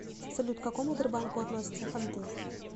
салют к какому тербанку относятся ханты